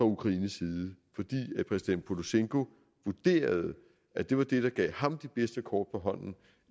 ukrainsk side fordi præsident porosjenko vurderede at det var det der gav ham de bedste kort på hånden